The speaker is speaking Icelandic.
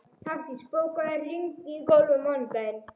Hafdís, bókaðu hring í golf á mánudaginn.